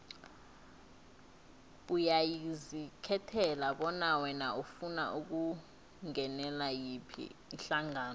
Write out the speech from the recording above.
uyazikhethela bona wena ufuna ukungenela yiphi ihlangano